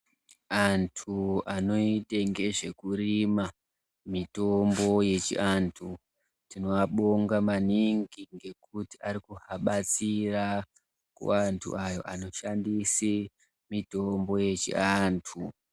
Antu anoite ngezvekurima mitombo yechiantu tinoabonga maningi ngekuti arikubatsira kuvantu ayo anoshandise mitombo yechiantu.